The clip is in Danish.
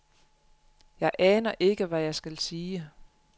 Jeg aner ikke, hvad jeg skal sige.